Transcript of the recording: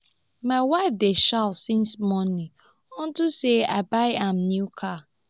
my wife dey shout since morning unto say i buy am new car